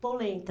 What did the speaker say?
Polenta.